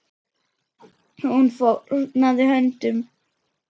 Hún fórnaði höndum.